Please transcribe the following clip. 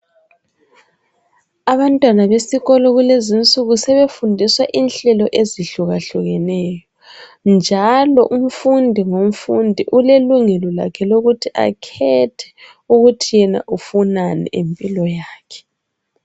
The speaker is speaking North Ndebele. Abantwana besikolo kulezi insuku sebefundiswa inhlelo ezehlukehlukeneyo, njalo umfundi ngomfundi. Ulelungela lakhe lokuthi akhethe ukuthi yena ufunani ngempilo yakhe.